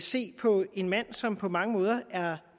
se på en mand som på mange måder er